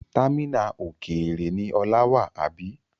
Támínà òkèèrè ni Ola wà, àbí?